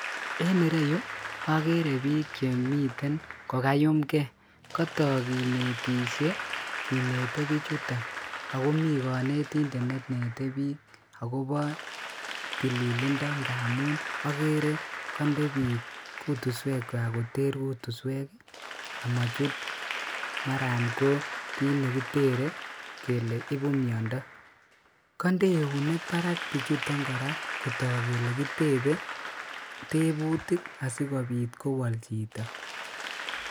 En ireyuu okeree biik chemiten kokayumkee, kotok kinetishe kinete bichuton akomii konetindet nenete biik akobo tililindo amuun akeree kondee biik kutuswekwak koter kutuswek amochut maran ko kiit nekitere kelee ibuu miondo, kondee eunek barak bichuton kora kotok kelee kitebee tebutik asikobit kowol chito.